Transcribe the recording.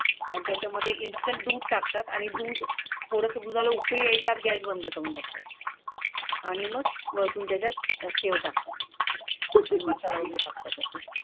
आणि त्याच्यामध्ये इन्स्टेंट दूध टाकतात आणि दूध उपयोगी त्यात गॅस बंद करून टाकतो आणि मग तुमच्या शेव टाका